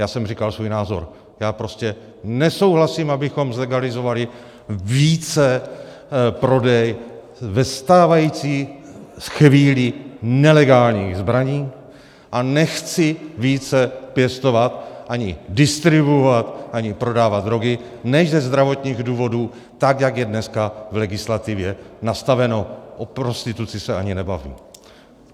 Já jsem říkal svůj názor, já prostě nesouhlasím, abychom zlegalizovali více prodej ve stávající chvíli nelegálních zbraní a nechci více pěstovat ani distribuovat ani prodávat drogy než ze zdravotních důvodů tak, jak je dneska v legislativě nastaveno, o prostituci se ani nebavím.